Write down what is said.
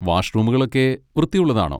വാഷ്റൂമുകളൊക്കെ വൃത്തിയുള്ളതാണോ?